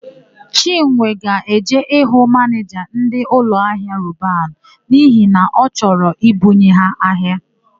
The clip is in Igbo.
Chinwe ga-eje ịhụ manịja ndị ụlọahịa Roban n'ihi na ọ chọro I bunye ha ahịa.